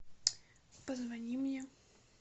позвони мне